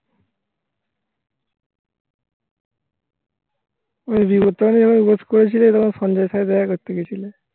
. আমায় wait করেছিলে তখন সঞ্জয় সাহা করতে গেছিল